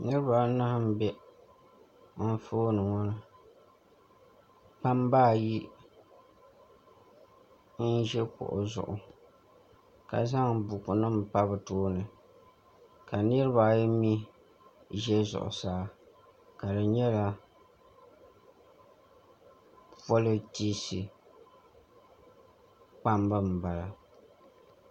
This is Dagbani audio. niriba anahi m-be anfooni ŋɔ ni kpamba ayi n-ʒi kuɣu zuɣu ka zaŋ bukunima pa bɛ tooni ka niriba ayi mi ʒe zuɣusaa ka di nyɛla pɔlitiisi kpamba m-bala